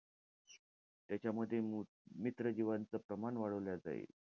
त्याच्यामध्ये मो~ मित्र जीवांचं प्रमाण वाढवलं जाईल.